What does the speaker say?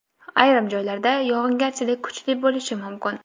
ayrim joylarda yog‘ingarchilik kuchli bo‘lishi mumkin.